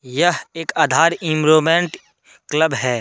यह एक Aadhaar enrolment club है।